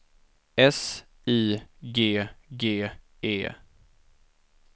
S I G G E